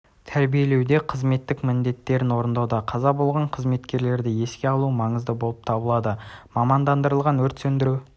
тәрбиелеуде қызметтік міндеттерін орындауда қаза болған қызметкерлерді еске алу маңызды болып табылады мамандырылған өрт сөндіру